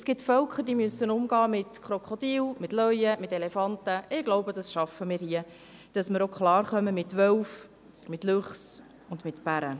Es gibt Völker, die das mit Krokodilen, Löwen und Elefanten tun müssen, und ich glaube, wir schaffen es, dass wir hier auch mit Wölfen, Luchsen und Bären klarkommen.